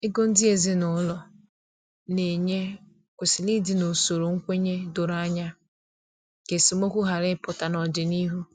Ego ndị ezinụlọ na enye kwesịrị ịdị n’usoro nkwenye doro anya, ka esemokwu ghara ịpụta n’ọdịnihu